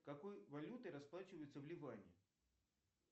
какой валютой расплачиваются в ливане